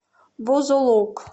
бузулук